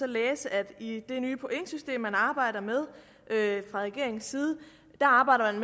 læse at i det nye pointsystem man arbejder med fra regeringens side arbejder